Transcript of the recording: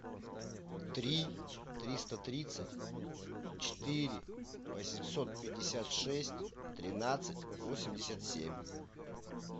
три триста тридцать четыре восемьсот пятьдесят шесть тринадцать восемьдесят семь